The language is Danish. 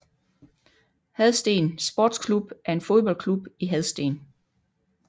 Hadsten Sports Klub er en fodboldklub i Hadsten